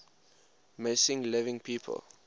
missing living people